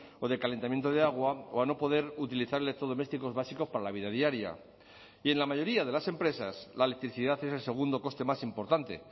o de calentamiento de agua o a no poder utilizar electrodomésticos básicos para la vida diaria y en la mayoría de las empresas la electricidad es el segundo coste más importante